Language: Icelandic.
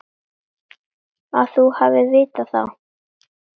Að þú hafir vitað það.